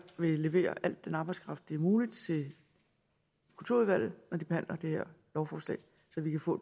vil levere al den arbejdskraft det er muligt til kulturudvalget når de behandler det her lovforslag så vi kan få